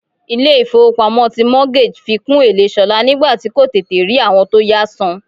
Ilé ifowopamo ti mortgage fi kún èlé ṣolá nígbà tí kò tètè rí àwọn tó yá san.